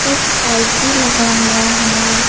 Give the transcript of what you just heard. एक पाइप भी लगा हुआ है।